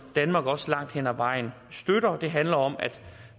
danmark også støtter langt hen ad vejen det handler om at